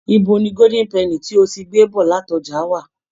Ibo ni gódín pẹnì tí o ti gbé bọ̀ láti ọjà wà?